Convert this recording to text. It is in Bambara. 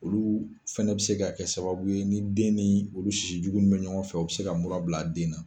Olu fɛnɛ bɛ se ka kɛ sababu ye ni den ni olu sisijugu nu bɛ ɲɔgɔn fɛ o bɛ se ka mura bila den na.